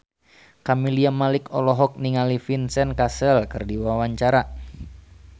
Camelia Malik olohok ningali Vincent Cassel keur diwawancara